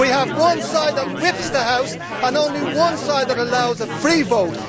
We have one side that whips the House and only one side that allows a free vote.